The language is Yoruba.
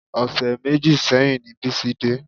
Ọṣẹ méjì sẹ́yìn ni Bísí dé